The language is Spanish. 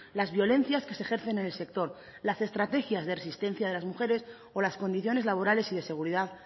las violencias que se ejercen en el sector las estrategias de resistencia de las mujeres o las condiciones laborales y de seguridad